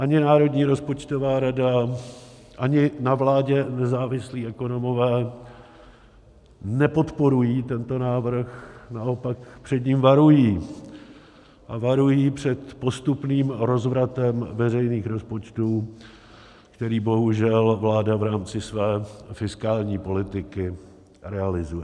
Ani Národní rozpočtová rada, ani na vládě nezávislí ekonomové nepodporují tento návrh, naopak před ním varují a varují před postupným rozvratem veřejných rozpočtů, který bohužel vláda v rámci své fiskální politiky realizuje.